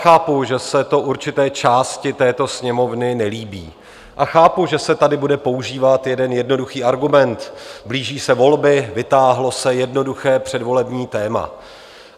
Chápu, že se to určité části této Sněmovny nelíbí, a chápu, že se tady bude používat jeden jednoduchý argument - blíží se volby, vytáhlo se jednoduché předvolební téma.